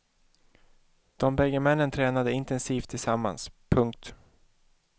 De bägge männen tränade intensivt tillsammans. punkt